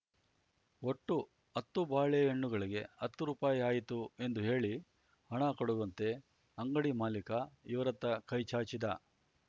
ಒಟ್ಟು ಹತ್ತು ಬಾಳೆಹಣ್ಣುಗಳಿಗೆ ಹತ್ತು ರೂಪಾಯಿ ಆಯಿತು ಎಂದು ಹೇಳಿ ಹಣ ಕೊಡುವಂತೆ ಅಂಗಡಿ ಮಾಲೀಕ ಇವರತ್ತ ಕೈಚಾಚಿದ